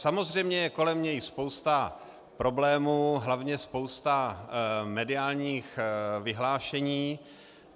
Samozřejmě je kolem něj spousta problémů, hlavně spousta mediálních vyhlášení.